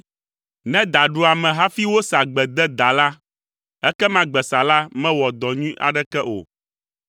Ne da ɖu ame hafi wosa gbe de daa la, ekema gbesala mewɔ dɔ nyui aɖeke o.